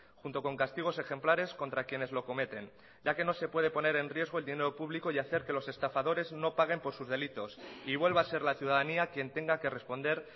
junto con castigos ejemplares contra quienes lo cometen ya que no se puede poner en riesgo el dinero público y hacer que los estafadores no paguen por sus delitos y vuelva a ser la ciudadanía quien tenga que responder